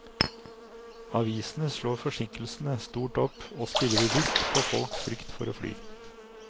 Avisene slår forsinkelsene stort opp og spiller bevisst på folks frykt for å fly.